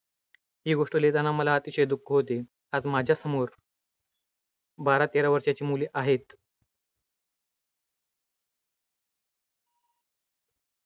ही गोष्ट लिहिताना मला दुःख होते. आज माझ्यासमोर बारा तेरा वर्षांची मुले आहेत.